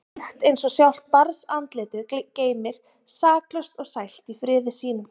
Mýkt eins og sjálft barnsandlitið geymir, saklaust og sælt í friði sínum.